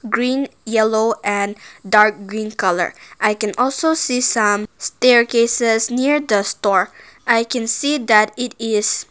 green yellow and dark green colour i can also see some staircases near the store i can see that it is --